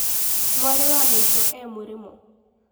Mwarĩ wa maitu e mũrĩmo